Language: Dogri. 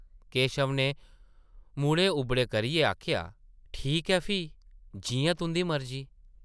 केशव नै मूंढे उबड़े करियै आखेआ , ठीक ऐ फ्ही, जि’यां तुंʼदी मर्जी ।